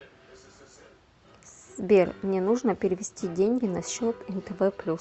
сбер мне нужно перевести деньги на счет нтв плюс